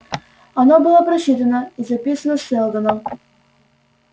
оно было просчитано и записано сэлдоном